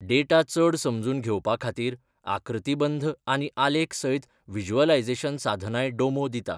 Data चड समजून घेवपा खातीर आकृतीबंध आनी आलेख सयत व्हिज्युअलायझेशन साधनांय डोमो दिता.